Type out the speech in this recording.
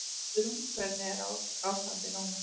Guðrún: Hvernig er ástandið núna?